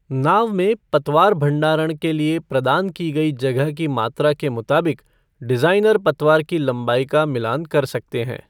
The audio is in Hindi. नाव में पतवार भंडारण के लिए प्रदान की गई जगह की मात्रा के मुताबिक डिज़ाइनर पतवार की लंबाई का मिलान कर सकते हैं।